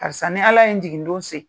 Karisa ni ala ye n jigin don se